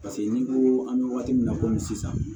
Paseke ni ko an bɛ waati min na komi sisan